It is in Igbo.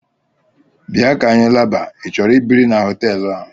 Bịa ka anyị laba: i chọrọ ibiri n'hotelu a?